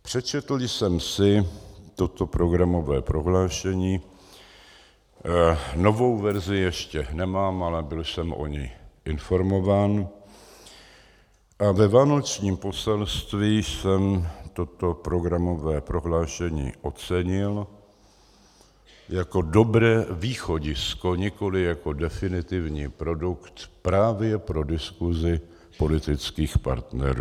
Přečetl jsem si toto programové prohlášení, novou verzi ještě nemám, ale byl jsem o ní informován, a ve vánočním poselství jsem toto programové prohlášení ocenil jako dobré východisko, nikoliv jako definitivní produkt, právě pro diskusi politických partnerů.